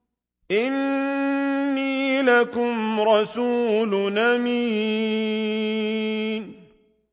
إِنِّي لَكُمْ رَسُولٌ أَمِينٌ